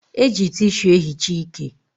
E ji tishu e hichaa ike